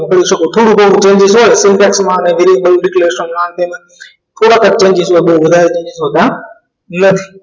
પણ કરી શકો થોડું ઘણું changes હોય તો texts માં declaration માં હા ન તે થોડાક જ changes હોય વધારે changes નથી હોતા નથી